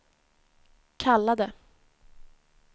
kallade